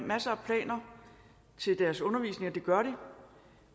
masser af planer til deres undervisning hvilket de gør